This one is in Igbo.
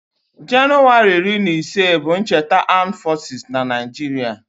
Januwari iri na ise bụ cheta Amdu fosis n'Naijiria